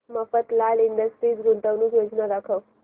Mafatlal industries गुंतवणूक योजना दाखव